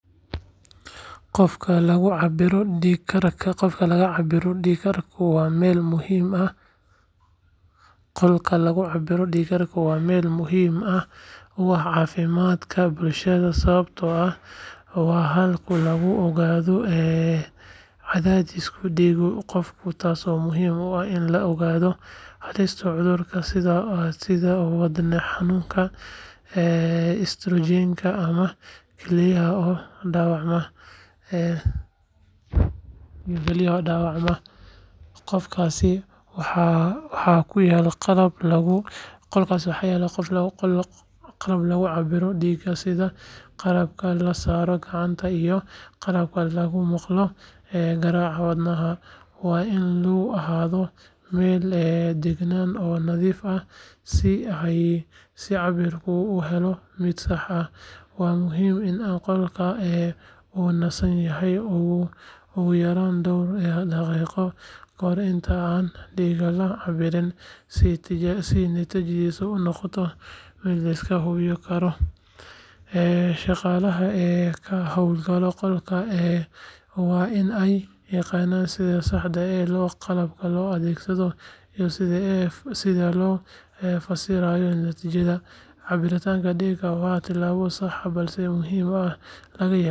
Qolka lagu cabbiro dhiig-karka waa meel muhiim u ah caafimaadka bulshada sababtoo ah waa halka lagu ogaado cadaadiska dhiigga qofka taasoo muhiim u ah in la ogaado halista cudurrada sida wadne xanuunka, istaroogga ama kilyaha oo dhaawacma. Qolkaas waxaa ku yaal qalab lagu cabbiro dhiigga sida qalabka la saaro gacanta iyo qalabka lagu maqlo garaaca wadnaha. Waa in uu ahaadaa meel deggan oo nadiif ah si cabbirka loo helo mid sax ah. Waxaa muhiim ah in qofka uu nasan yahay ugu yaraan dhowr daqiiqo kahor inta aan dhiigga laga cabbirin si natiijadu u noqoto mid la isku halleyn karo. Shaqaalaha ka howlgala qolka waa in ay yaqaanaan sida saxda ah ee qalabka loo adeegsado iyo sida loo fasirayo natiijada. Cabbirka dhiigga waa tallaabo sahlan balse muhiim ah oo laga yaabo in lagu ogaado dhibaatooyin caafimaad oo aan muuqan. Sidaa darteed qolkaas wuxuu door weyn ka qaataa kahortagga iyo daaweynta cudurrada khatarta ah.